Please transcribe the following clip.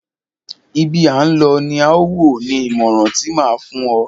Ibi à ń lọ ni à wò, ni ìmọràn ti máa a fún o.